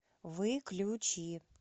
выключи